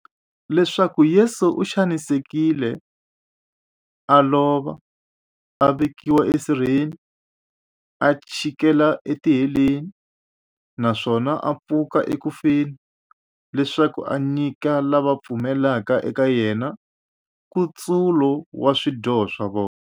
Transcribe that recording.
Leswaku Yesu u xanisekile, a lova, a vekiwa esirheni, a chikela etiheleni, naswona a pfuka eku feni, leswaku a nyika lava va pfumelaka eka yena, nkutsulo wa swidyoho swa vona.